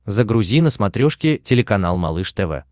загрузи на смотрешке телеканал малыш тв